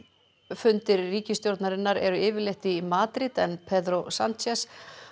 fundir ríkisstjórnarinnar eru yfirleitt í Madríd en Pedro Sánchez